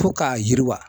Fo k'a yiriwa